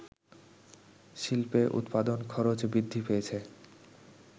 শিল্পে উৎপাদন খরচ বৃদ্ধি পেয়েছে